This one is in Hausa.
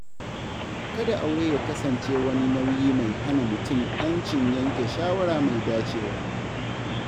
Kada aure ya kasance wani nauyi mai hana mutum ‘yancin yanke shawara mai dacewa.